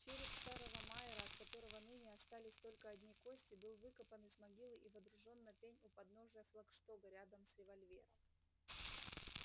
череп старого майера от которого ныне остались только одни кости был выкопан из могилы и водружён на пень у подножия флагштока рядом с револьвером